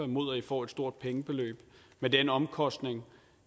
mod at de får et stort pengebeløb med den omkostning